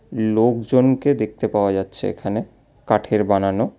লোকজনকে দেখতে পাওয়া যাচ্ছে এখানে কাঠের বানানো।